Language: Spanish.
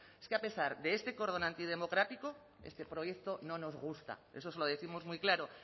es que a pesar de este cordón antidemocrático este proyecto no nos gusta eso se lo décimos muy claro